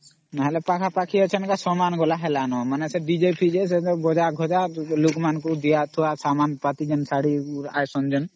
ମାନେ ପାଖ ପାଖି ଅଛ ଗ ସମାନ ଗଲନDJ ଅମ୍